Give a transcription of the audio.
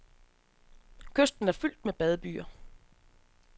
Kysten er fyldt med badebyer.